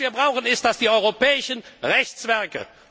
Was wir brauchen sind die europäischen Rechtswerke.